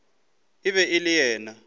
e be e le yena